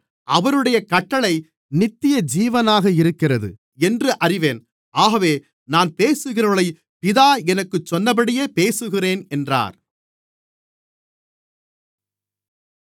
அவருடைய கட்டளை நித்தியஜீவனாக இருக்கிறது என்று அறிவேன் ஆகவே நான் பேசுகிறவைகளைப் பிதா எனக்குச் சொன்னபடியே பேசுகிறேன் என்றார்